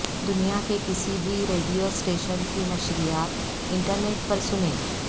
دنیا کے کسی بھی ریڈیو اسٹیشن کی نشریات انٹرنیٹ پر سنیں